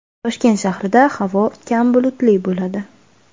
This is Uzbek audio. Toshkent shahrida havo kam bulutli bo‘ladi.